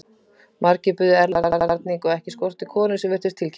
Margir buðu erlendan varning og ekki skorti konur sem virtust tilkippilegar.